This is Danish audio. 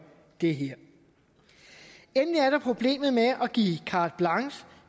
det her endelig er der problemet med at give carte blanche